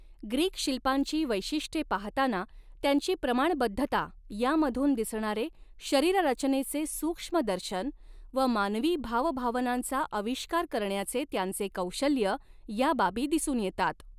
Greek शिल्पांची वैशिष्ट्ये पाहताना त्यांची प्रमाणबद्धता यामधून दिसणारे शरीररचनेचे सूक्ष्म दर्शन व मानवी भाव भावनांचा आविष्कार करण्याचे त्यांचे कौशल्य या बाबी दिसून येतात.